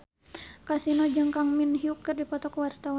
Kasino jeung Kang Min Hyuk keur dipoto ku wartawan